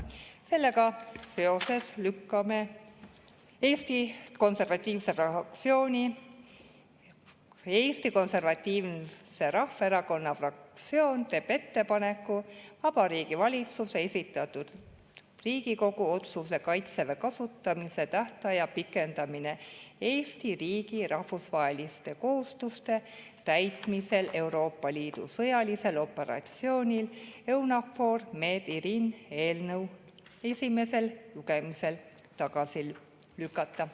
Sellega seoses teeb Eesti Konservatiivse Rahvaerakonna fraktsioon ettepaneku Vabariigi Valitsuse esitatud Riigikogu otsuse "Kaitseväe kasutamise tähtaja pikendamine Eesti riigi rahvusvaheliste kohustuste täitmisel Euroopa Liidu sõjalisel operatsioonil EUNAVFOR Med/Irini" eelnõu esimesel lugemisel tagasi lükata.